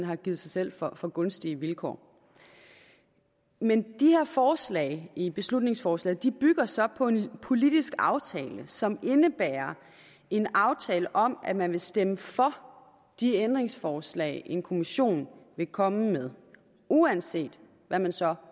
har givet sig selv for for gunstige vilkår men de her forslag i beslutningsforslaget bygger så på en politisk aftale som indebærer en aftale om at man vil stemme for de ændringsforslag en kommission vil komme med uanset hvad den så